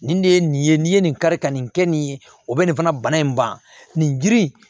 Nin de ye nin ye n'i ye nin kari ka nin kɛ nin ye o bɛ nin fana bana in ban nin girin